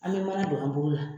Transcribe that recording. An be mana don an bolo la.